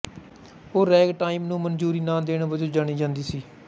ਉਹ ਰੈਗਟਾਈਮ ਨੂੰ ਮਨਜ਼ੂਰੀ ਨਾ ਦੇਣ ਵਜੋਂ ਜਾਣੀ ਜਾਂਦੀ ਸੀ